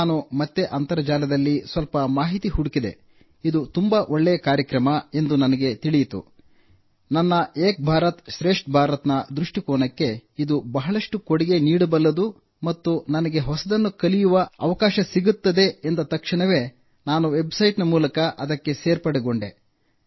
ನಾನು ಮತ್ತೆ ಅಂತರ್ಜಾಲದಲ್ಲಿ ಸ್ವಲ್ಪ ಮಾಹಿತಿ ಹುಡುಕಿದೆ ಇದು ತುಂಬಾ ಒಳ್ಳೆಯ ಕಾರ್ಯಕ್ರಮ ಎಂದು ನನಗೆ ತಿಳಿಯಿತು ನನ್ನ ಏಕ್ ಭಾರತ್ ಶ್ರೇಷ್ಠ ಭಾರತ್ನ ದೃಷ್ಟಿಕೋನಕ್ಕೆ ಇದು ಬಹಳಷ್ಟು ಕೊಡುಗೆ ನೀಡಬಲ್ಲದು ಮತ್ತು ನನಗೆ ಹೊಸದನ್ನು ಕಲಿಯುವ ಅವಕಾಶ ಸಿಗುತ್ತದೆ ಎಂದು ಅರಿತು ತಕ್ಷಣವೇ ನಾನು ವೆಬ್ಸೈಟ್ ಮೂಲಕ ಅದಕ್ಕೆ ಸೇರ್ಪಡೆಗೊಂಡೆ